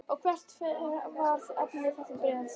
Og hvert var efni þess bréfs?